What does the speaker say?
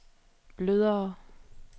blødere